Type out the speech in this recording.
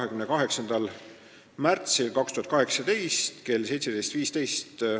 Seega on tähtaeg 28. märts kell 17.15.